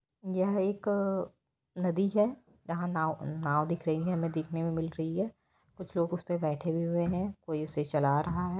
ये एक नदी है यहाँ नाव नाव दिख रही है हमें दिखाने में मिल रही है कुछ लोग उसे पर बैठे हुए हैं कोई उसे चला रहा है।